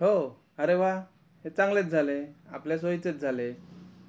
हो अरे वा हे चांगलेच झाले हे आपल्या सोयीचेच झाले हे